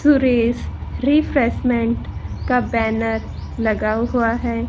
Suresh refreshment का banner लगा हुआ है।